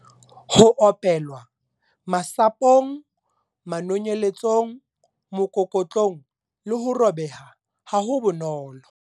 Ho opelwa- Masapo ng, manonyeletso ng, mokokotlong le ho robeha ha bonolo.